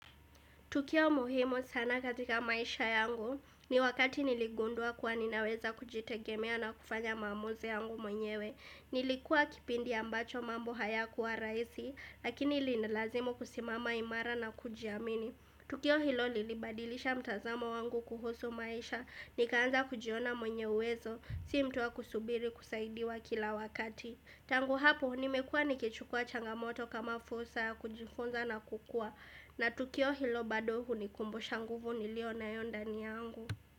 Tukio muhimu sana katika maisha yangu ni wakati nilligundua kuwa ninaweza kujitegemea na kufanya maamuzi yangu mwenyewe. Nilikuwa kipindi ambacho mambo haya kuwa rahisi lakini ilinilazimu kusimama imara na kujiamini. Tukio hilo lilibadilisha mtazamo wangu kuhusu maisha ni kaanza kujiona mwenyeuwezo si mtuwa kusubiri kusaidiwa kila wakati. Tangu hapo, nimekua nikichukua changamoto kama fursa ya kujifunza na kukua na tukio hilo bado hunikumbu shanguvu niliyo na yondani yangu.